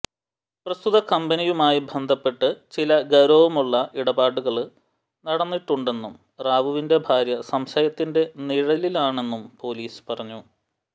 പ്രസ്തുതകമ്പനിയുമായി ബന്ധപ്പെട്ട് ചില ഗൌരവമുള്ള ഇടപാടുകള് നടന്നിട്ടുണ്ടെന്നും റാവുവിന്റെ ഭാര്യ സംശയത്തിന്റെ നിഴലിലാണെന്നും പോലീസ് പറഞ്ഞു